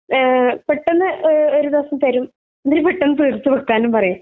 എഹ് പെട്ടന്ന് എഹ് ഒരു ദിവസം തരും ന്തുരു പെട്ടന്ന് തീർത്തു കൊടുക്കാനും പറയും